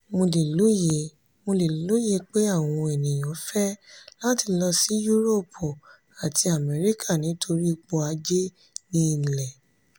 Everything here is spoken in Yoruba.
"mo le loye "mo le loye pe awọn eniyan fẹ lati lọ si yuroopu ati amẹrika nitori ipo aje ni ile.